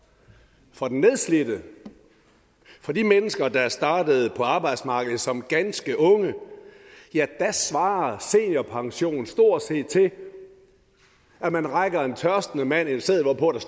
for den nedslidte for de mennesker der startede på arbejdsmarkedet som ganske unge svarer seniorpensionen stort set til at man rækker en tørstende mand en seddel hvorpå der